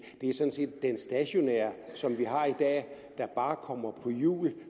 den stationære som vi har i dag kommer på hjul